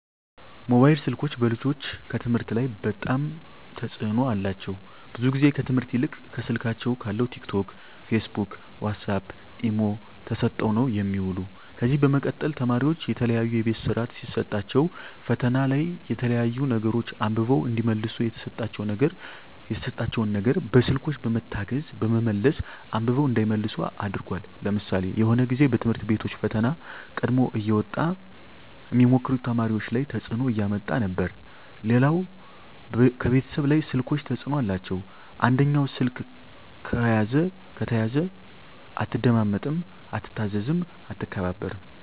ሞባይል ስልኮች በልጆች ከትምህርት ላይ በጣም ተጽዕኖ አላቸው ብዙ ግዜ ከትምህርት ይልቅ ከስልካቸው ካለው ቲክ ቶክ ፊስቡክ ዋሳፕ ኢሞ ተሰጠው ነው የሚውሉ ከዚ በመቀጠል ተማሪዎች የተለያዩ የቤት ስራ ሲሰጣቸዉ ፈተና ላይ የተለያዩ ነገሮች አንብበው እዲመልሱ የተሰጣቸው ነገር በስልኮች በመታገዝ በመመለስ አንብበው እንዳይመልሱ አድርጓል ለምሳሌ የሆነ ግዜ በትምህርት ቤቶች ፈተና ቀድሞ እየወጣ ሚሞክሩ ተማሪዎች ላይ ተጽዕኖ እያመጣ ነበር ሌላው ከቤተሰብ ላይ ስልኮች ተጽዕኖ አላቸው አንደኛው ስልክ ከተያዘ አትደማመጥም አትታዘዝም አትከባበርም